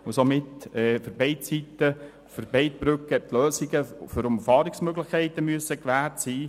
Somit müssen für beide Brücken und beide Seiten die Lösungen für Umfahrungsmöglichkeiten gewährt sein.